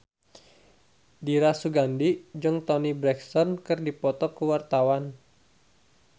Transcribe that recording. Dira Sugandi jeung Toni Brexton keur dipoto ku wartawan